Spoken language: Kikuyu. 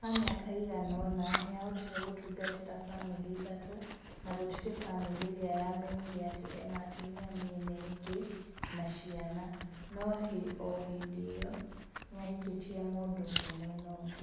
Ha mĩaka ĩigana ona, nĩahotire gũtungatĩra bamĩrĩ ithatũ, na gũtirĩ bamĩrĩ iria yamenyire atĩ ena atumia mĩena ĩngĩ na ciana no ohĩndĩ ĩyo, nĩahikĩtie mũndũ ũngi mwena ũngĩ